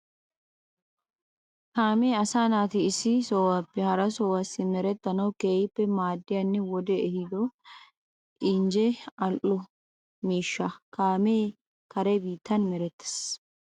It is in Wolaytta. Kaamee asaa naati issi sohuwappe hara sohuwa simerettanawu keehippe maaddiyanne wodee ehiido injjenne al"o tagaa miishsha. Kaamee kare biittan merettees.